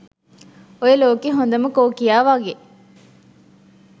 ඔය ලෝකේ හොඳම කෝකියා වගේ